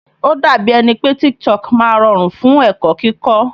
Ó dàbí ẹni pé TikTok máa rọrùn fún ẹ̀kọ́ kíkó.